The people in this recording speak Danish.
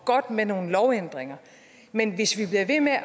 godt med nogle lovændringer men hvis vi bliver ved med at